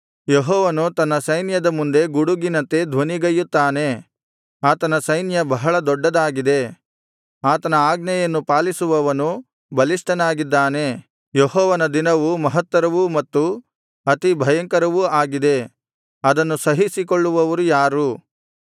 ಯೆಹೋವನು ತನ್ನ ಸೈನ್ಯದ ಮುಂದೆ ಗುಡುಗಿನಂತೆ ಧ್ವನಿಗೈಯುತ್ತಾನೆ ಆತನ ಸೈನ್ಯ ಬಹಳ ದೊಡ್ಡದಾಗಿದೆ ಆತನ ಆಜ್ಞೆಯನ್ನು ಪಾಲಿಸುವವನು ಬಲಿಷ್ಠನಾಗಿದ್ದಾನೆ ಯೆಹೋವನ ದಿನವು ಮಹತ್ತರವೂ ಮತ್ತು ಅತಿಭಯಂಕರವೂ ಆಗಿದೆ ಅದನ್ನು ಸಹಿಸಿಕೊಳ್ಳುವವರು ಯಾರು